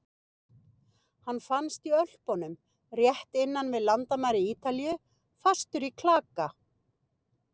Hann fannst í Ölpunum rétt innan við landamæri Ítalíu, fastur í klaka.